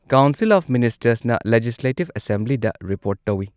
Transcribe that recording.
Council of ꯃꯤꯅꯤꯁꯇꯔꯁꯅ legislative ꯑꯦꯁꯦꯝꯕ꯭ꯂꯤꯗ report ꯇꯧꯏ꯫